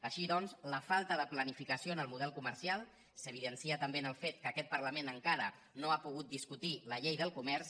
així doncs la falta de planificació en el model comercial s’evidencia també en el fet que aquest parlament en·cara no ha pogut discutir la llei del comerç